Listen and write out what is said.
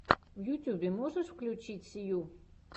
в ютюбе можешь включить сию